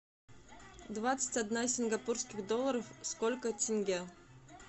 двадцать одна сингапурских долларов сколько тенге